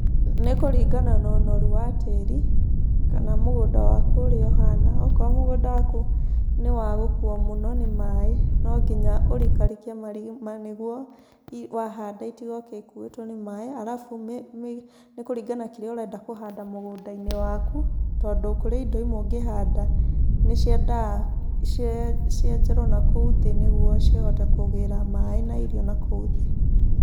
Nĩ kũringana no ũnoru wa tĩri, kana mũgũnda waku ũrĩa ũhana. Okorwo mũgũnda waku nĩ wa gũkuuo mũno nĩ maĩ, no nginya ũrikarikie marima nĩguo wahanda itigoke ikuĩtwo nĩ maĩ, arabu nĩ kũringana na kĩrĩa ũrenda kũhanda mũgũnda-inĩ waku, tondũ kũrĩ indo imwe ũngĩhanda nĩciendaga cienjerwo nakũu thĩ nĩguo cihote kũgĩra maĩ na irio nakũu thĩ.